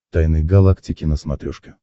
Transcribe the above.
тайны галактики на смотрешке